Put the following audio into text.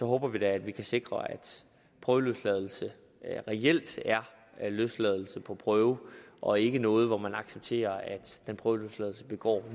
håber at vi kan sikre at prøveløsladelse reelt er løsladelse på prøve og ikke noget hvor man accepterer at den prøveløsladte begår